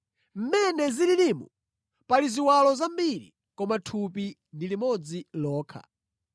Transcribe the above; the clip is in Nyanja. Mmene zililimu, pali ziwalo zambiri koma thupi ndi limodzi lokha.